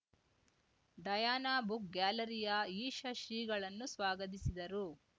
Diana book ಗ್ಯಾಲರಿಯ ಈಷ ಶ್ರೀಗಳನ್ನು ಸ್ವಾಗತಿಸಿದರು